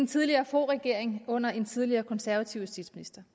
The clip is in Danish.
tidligere foghregering under en tidligere konservativ justitsminister